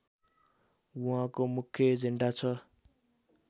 उहाँको मुख्य एजेन्डा छ